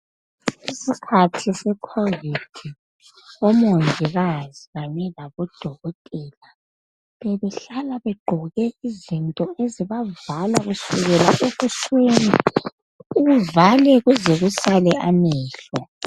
Ngesikhathi secovid ,omongikazi kanye labo dokotela .Bebehlala begqoke izinto ezibavala kusukela ebusweni uvale kuze kusale amehlo .